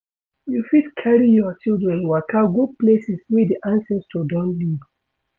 You fit carry your children waka go places wey di ancestor don live